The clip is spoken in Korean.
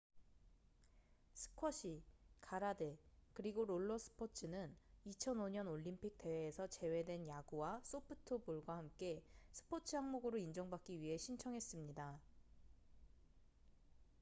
스쿼시 가라데 그리고 롤러 스포츠는 2005년 올림픽 대회에서 제외된 야구와 소프트볼과 함께 스포츠 항목으로 인정받기 위해 신청했습니다